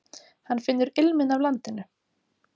Hann finnur ilminn af landinu.